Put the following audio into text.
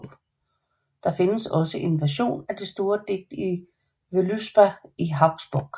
Der findes også en version af det store digt Völuspá i Hauksbok